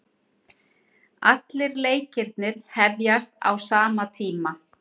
Allir leikirnir hefjast á sama tíma